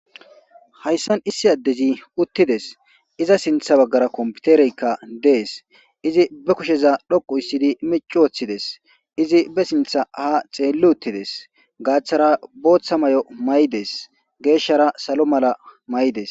Hayssan issi addezi uttides iza sintha baggara kompitereykka dees izi be kusheza dhoqu issidi mici woththides izi be sintha ha xeelli uttides gaaththara booththa may7o may7des geeshshara salo mala may7des